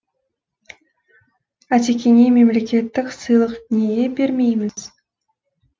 атекеңе мемлекеттік сыйлық неге бермейміз